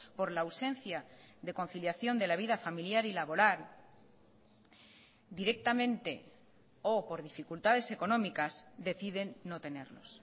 por la ausencia de conciliación de la vida familiar y laboral directamente o por dificultades económicas deciden no tenerlos